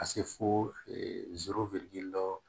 Ka se fo dɔ